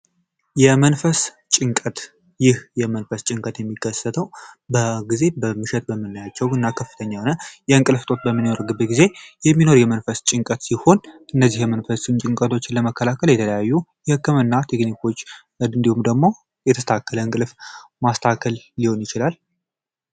የመንፈስ ጭንቀት ይህ የመንፈስ ጭንቀት የሚከሰተው በጊዜ በመሸጥ በምናያቸው እና ከፍተኛ የንቅልፍ እጦት በሚኖርበት ጊዜ የመንፈስ ጭንቀት ሲሆን እነዚህ መንፈሱን ጭንቀቶች ለመከላከል የተለያዩ የህክምና ቴክኒኮች እንዲሁም ደግሞ የተስተካከለ እንቅልፍ ማስተካከል ሊሆን ይችላል።